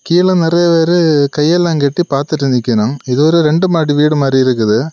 கீழ நெறய பேரு கையெல்லா கட்டி பாத்துட்டு நிக்கணம் இது ஒரு ரெண்டு மாடி வீடு மாறி இருக்குது.